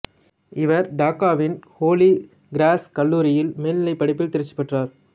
இவர் டாக்காவின் Holy Cross கல்லூரியில் மேல்நிலைப் படிப்பில் தேர்ச்சி பெற்றார்